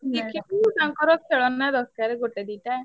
ବସିକି ବି ତାଙ୍କର ଖେଳନା ~ଦର ~କାର ଗୋଟେ ଦିଟା।